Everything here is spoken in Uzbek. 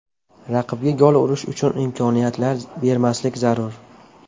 Raqibga gol urish uchun imkoniyatlar bermaslik zarur.